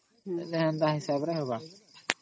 ଯେନ୍ତା ହିସାବ ରେ ହବା